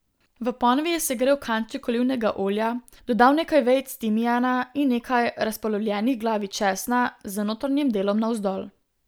V ponvi je segrel kanček olivnega olja, dodal nekaj vejic timijana in nekaj razpolovljenih glavic česna, z notranjim delom navzdol.